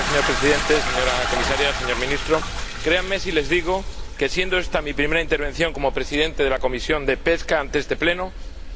Señor Presidente, señora Comisaria, señor Ministro, créanme si les digo que, siendo esta mi primera intervención como presidente de la Comisión de Pesca ante este Pleno,